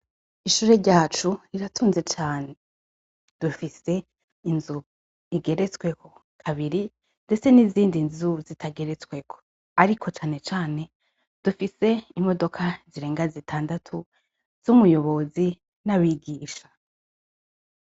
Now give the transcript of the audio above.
Ishuri ryacu, riratunze cane. Dufise inzu igeretsweko kabiri ndetse nizindi nzu zitageretsweko. Ariko cane cane dufise imodoka zirenga zitandatu z'umuyobozi n'abigisha.